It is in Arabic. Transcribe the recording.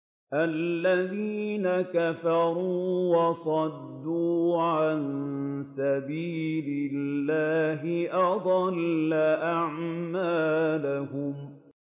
الَّذِينَ كَفَرُوا وَصَدُّوا عَن سَبِيلِ اللَّهِ أَضَلَّ أَعْمَالَهُمْ